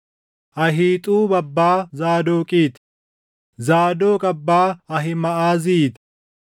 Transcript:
Ahiixuub abbaa Zaadoqii ti; Zaadoq abbaa Ahiimaʼazii ti;